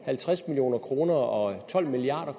halvtreds million kroner og tolv milliard